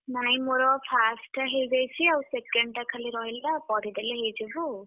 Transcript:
ନାଇଁ ମୋର first ଟା ହେଇଯାଇଛି ଆଉ second ଟା ଖାଲି ରହିଲା ପଢିଦେଲେ ହେଇଯିବ ଆଉ।